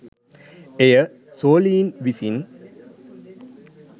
එය සොළීන් විසින්